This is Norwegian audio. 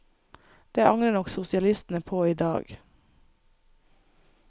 Det angrer nok sosialistene på i dag.